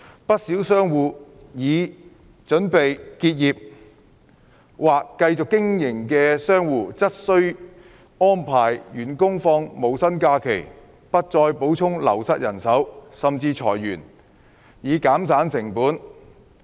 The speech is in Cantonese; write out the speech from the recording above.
不少商戶已經或準備結業，而繼續經營的商戶則需安排員工放無薪假期、不再補充流失人手，甚至裁員，以減省成本。